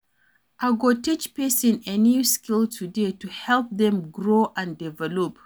I go teach pesin a new skill today to help dem grow and develop.